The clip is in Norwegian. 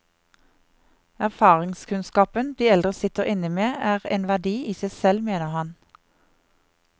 Erfaringskunnskapen de eldre sitter inne med er en verdi i seg selv, mener han.